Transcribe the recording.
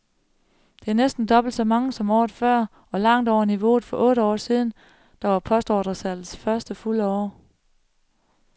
Det er næsten dobbelt så meget som året før og langt over niveauet for otte år siden, der var postordresalgets første fulde år.